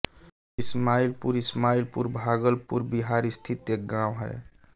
ईस्माइलपुर ईस्माइलपुर भागलपुर बिहार स्थित एक गाँव है